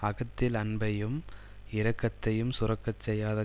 அகத்தில் அன்பையும் இரக்கத்தையும் சுரக்கச் செய்யாத